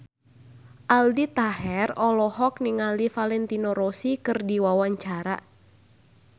Aldi Taher olohok ningali Valentino Rossi keur diwawancara